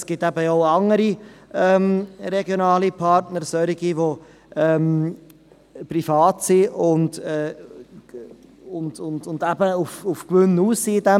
Es gibt aber auch andere regionale Partner, solche, welche privat sind und in diesem Bereich auf Gewinn aus sind.